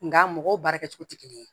Nga mɔgɔw baara kɛcogo tɛ kelen ye